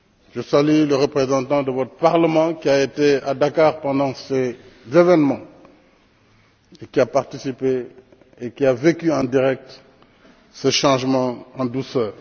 Je salue le représentant de votre Parlement, qui a été à Dakar pendant ces événements, qui a participé et qui a vécu en direct ce changement en douceur.